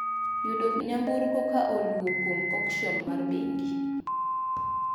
Yudo nyamburko ka oluwo kuom okshon mar bengi